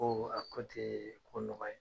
A ko te ko nɔgɔ ye